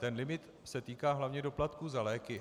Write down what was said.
Ten limit se týká hlavně doplatků za léky.